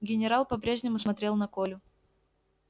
генерал по прежнему смотрел на колю